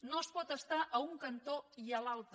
no es pot estar a un cantó i a l’altre